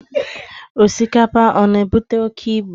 Osikapa, ọ na-ebute oke ibu?